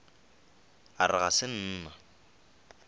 a re ga se nna